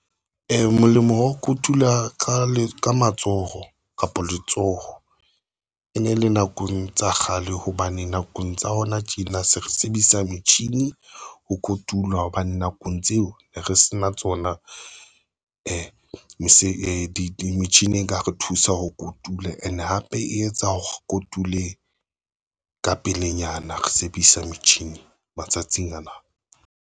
Molemo wa ho kotula ka matsoho kapa letsoho ene ele nakong tsa kgale, hobane nakong tsa hona tjena se re sebedisa metjhini ho kotula, hobane nakong tseo re ne sena tsona metjhini e ka re thusa ho kotula and hape e tsa ho kotule ka pelenyana re sebedisa metjhini matsatsing ana.